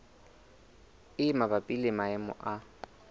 e mabapi le maemo a